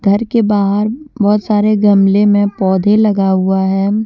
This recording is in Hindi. घर के बाहर बहुत सारे गमले में पौधे लगा हुआ है।